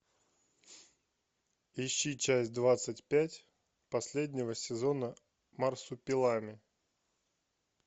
ищи часть двадцать пять последнего сезона марсупилами